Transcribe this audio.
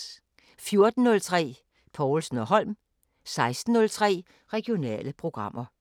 14:03: Povlsen & Holm 16:03: Regionale programmer